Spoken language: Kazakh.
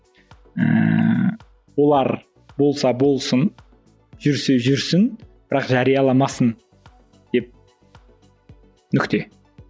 ііі олар болса болсын жүрсе жүрсін бірақ жарияламасын деп нүкте